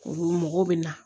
Olu mɔgɔw bɛ na